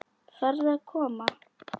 Farðu að koma.